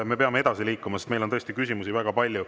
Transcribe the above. Me peame edasi liikuma, sest meil on tõesti küsimusi väga palju.